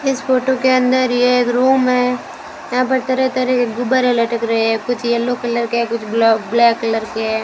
इस फोटो के अंदर ये एक रूम है यहां पर तरह-तरह के गुब्बारे लटक रहे हैं कुछ येलो कलर के हैं कुछ ब्लैक कलर के हैं।